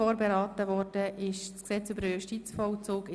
Vorberaten wurde das Gesetz über den Justizvollzug in